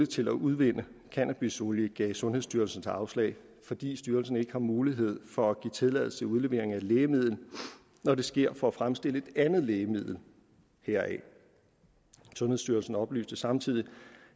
til at udvinde cannabisolie gav sundhedsstyrelsen så afslag fordi styrelsen ikke har mulighed for at give tilladelse til udlevering af et lægemiddel når det sker for at fremstille et andet lægemiddel heraf sundhedsstyrelsen oplyste samtidig